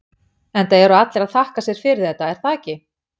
Enda eru allir að þakka sér fyrir þetta, er það ekki?